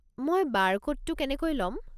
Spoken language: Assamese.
মই বাৰকোডটো কেনেকৈ ল'ম?